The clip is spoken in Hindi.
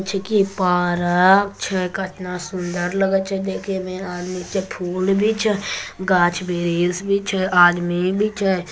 जेकी पार अ छे कितना सुंदर लगे छे देखे में आदमी के फुल भी छे गाछ भी छे आदमी भी छे--